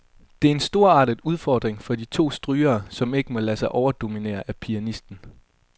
Det er en storartet udfordring for de to strygere, som ikke må lade sig overdominere af pianisten.